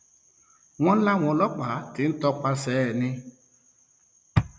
wọn láwọn ọlọpàá ti ń tọpasẹ ẹni